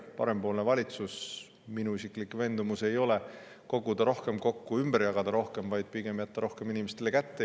Parempoolne valitsus – minu isiklik veendumus ei ole see, et rohkem kokku koguda ja rohkem ümber jagada, vaid pigem see, et jätta inimestele rohkem kätte.